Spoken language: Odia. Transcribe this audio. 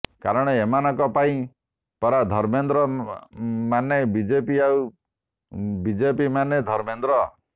କାରଣ ଏମାନଙ୍କ ପାଇଁ ପରା ଧର୍ମେନ୍ଦ୍ର ମାନେ ବିଜେପି ଆଉ ବିଜେପି ମାନେ ଧର୍ମେନ୍ଦ୍ର